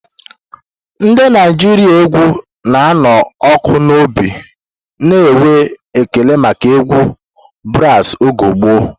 Ndị Naijiria égwù na-anụ ọkụ n'obi na-enwe ekele maka egwu brasi oge gboo.